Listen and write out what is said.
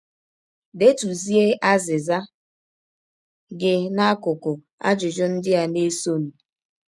Detụzie azịza gị n’akụkụ ajụjụ ndị a na - esọnụ.